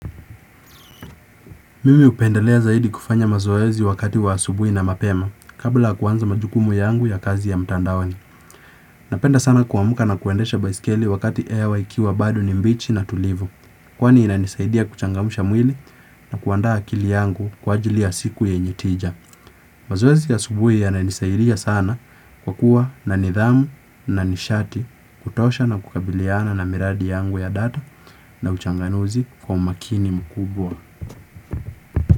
Mimi upendalea zaidi kufanya mazoezi wakati wa asubui na mapema kabla kuanza majukumu yangu ya kazi ya mtandaoni. Napenda sana kuamka na kuendesha baiskeli wakati hewa ikiwa bado ni mbichi na tulivu. Kwani inanisaidia kuchangamsha mwili na kuanda akili yangu kwa ajili siku yenyeteja. Mazoezi ya asubui ya inanisaidia sana kwa kuwa na nidhamu na nishati kutosha na kukabiliana na miradi yangu ya data na uchanganuzi kwa umakini mkubwa.